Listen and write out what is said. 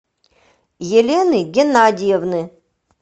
елены геннадиевны